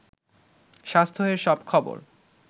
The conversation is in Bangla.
স্বাস্থ্য-এর সব খবর